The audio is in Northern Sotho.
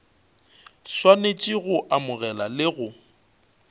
swanetše go amogela le go